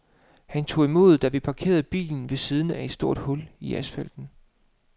Han tog imod, da vi parkerede bilen ved siden af et stort hul i asfalten.